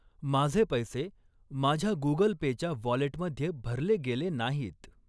माझे पैसे माझ्या गुगल पे च्या वॉलेटमध्ये भरले गेले नाहीत.